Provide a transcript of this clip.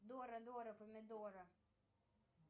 дора дора помидора